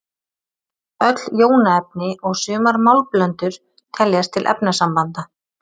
öll jónaefni og sumar málmblöndur teljast til efnasambanda